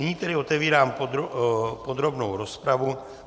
Nyní tedy otevírám podrobnou rozpravu.